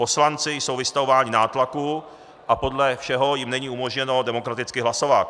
Poslanci jsou vystavováni nátlaku a podle všeho jim není umožněno demokraticky hlasovat.